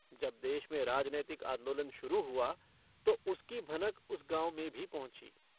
जब देश में राजनैतिक आन्दोलन शुरू हुआ तो उसकी भनक उस गाँव में भी पहुँची।